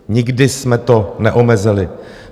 Nikdy jsme to neomezili.